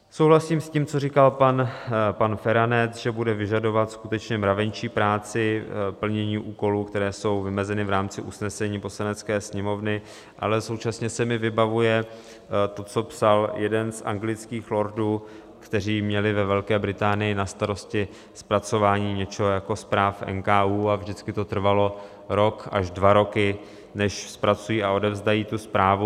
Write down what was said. Souhlasím s tím, co říkal pan Feranec, že bude vyžadovat skutečně mravenčí práci plnění úkolů, které jsou vymezeny v rámci usnesení Poslanecké sněmovny, ale současně se mi vybavuje to, co psal jeden z anglických lordů, kteří měli ve Velké Británii na starosti zpracování něco jako zpráv NKÚ, a vždycky to trvalo rok až dva roky, než zpracují a odevzdají tu zprávu.